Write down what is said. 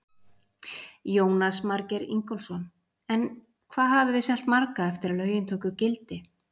Jónas Margeir Ingólfsson: En hvað hafið þið selt marga eftir að lögin tóku gildi?